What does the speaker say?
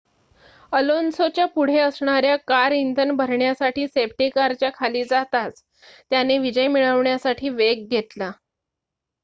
अलोन्सोच्या पुढे असणाऱ्या कार इंधन भरण्यासाठी सेफ्टी कारच्या खाली जाताच त्याने विजय मिळवण्यासाठी वेग घेतला